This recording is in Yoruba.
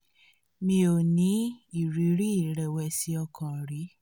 mi ò ní ìrírí ìrẹ̀wẹ̀sì ọkàn rí